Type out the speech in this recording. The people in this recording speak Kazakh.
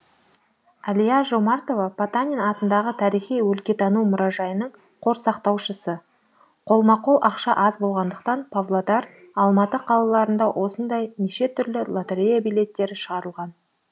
әлия жомартова потанин атындағы тарихи өлкетану мұражайының қор сақтаушысы қолма қол ақша аз болғандықтан павлодар алматы қалаларында осындай неше түрлі лотерея билеттері шығарылған